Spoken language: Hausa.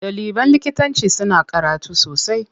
Ɗaliban likitanci suna karatu sosai.